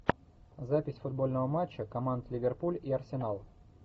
запись футбольного матча команд ливерпуль и арсенал